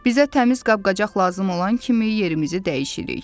Bizə təmiz qab-qacaq lazım olan kimi yerimizi dəyişirik.